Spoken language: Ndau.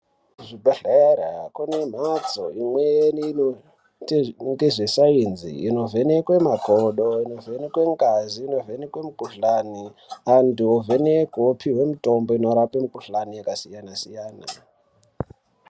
Kuzvibhedhlera kune mhatso imweni inoita ngezvesainzi inovhenekwe makodo, inovhenekwe ngazi, inovhenekwe mukhuhlani. Antu ovhenekwe opiwe mitombo inorape mukhuhlani yakasiyana siyana.